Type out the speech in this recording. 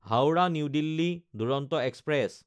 Howrah New Delhi Duronto express